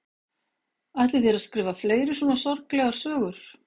Ætlið þér að skrifa fleiri svona sorglegar sögur?